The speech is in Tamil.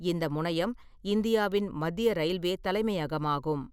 இந்த முனையம் இந்தியாவின் மத்திய ரயில்வே தலைமையகமாகும்.